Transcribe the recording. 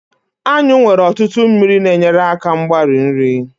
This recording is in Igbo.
anyụ nwere ọtụtụ mmiri na-enyere aka mgbari nri